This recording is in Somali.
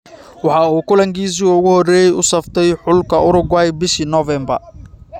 Waxa uu kulankiisii ​​ugu horeeyay u saftay xulka Uruguay bishii November.